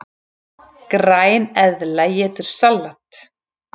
Græneðla étur salat!